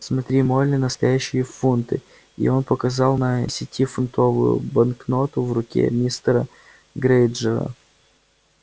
смотри молли настоящие фунты и он показал на десятифунтовую банкноту в руке мистера грэйнджера